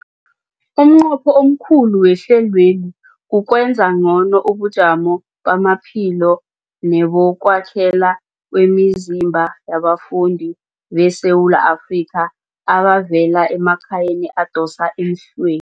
Umnqopho omkhulu wehlelweli kukwenza ngcono ubujamo bamaphilo nebokwakhela kwemizimba yabafundi beSewula Afrika abavela emakhaya adosa emhlwe